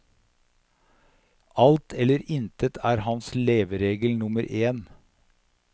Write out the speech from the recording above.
Alt eller intet er hans leveregel nummer en.